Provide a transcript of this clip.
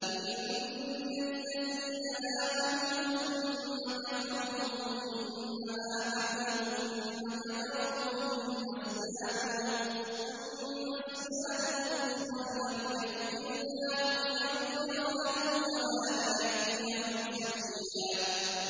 إِنَّ الَّذِينَ آمَنُوا ثُمَّ كَفَرُوا ثُمَّ آمَنُوا ثُمَّ كَفَرُوا ثُمَّ ازْدَادُوا كُفْرًا لَّمْ يَكُنِ اللَّهُ لِيَغْفِرَ لَهُمْ وَلَا لِيَهْدِيَهُمْ سَبِيلًا